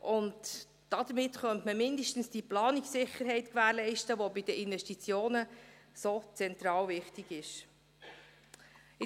Damit könnte man zumindest diese Planungssicherheit gewährleisten, die bei den Investitionen von so zentraler Wichtigkeit ist.